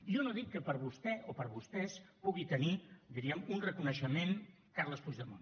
jo no dic que per vostè o per vostès pugui tenir diríem un reconeixement carles puigdemont